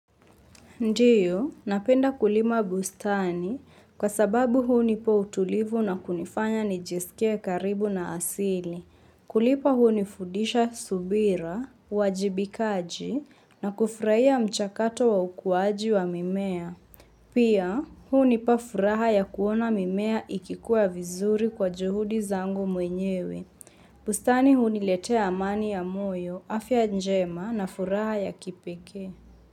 Ndio, napenda kulima bustani kwa sababu hunipa utulivu na kunifanya nijisikie karibu na asili. Kulipa hunifudisha subira, uwajibikaji na kufurahia mchakato wa ukuwaji wa mimea. Pia, hunipa furaha ya kuona mimea ikikuwa vizuri kwa juhudi zangu mwenyewe. Bustani huniletea amani ya moyo, afya njema na furaha ya kipekee.